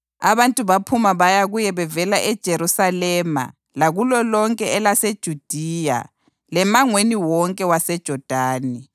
Abantu baphuma baya kuye bevela eJerusalema lakulo lonke elaseJudiya lemangweni wonke waseJodani.